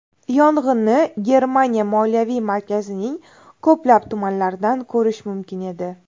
Yong‘inni Germaniya moliyaviy markazining ko‘plab tumanlaridan ko‘rish mumkin edi.